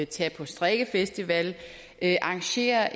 tage på strikkefestival arrangere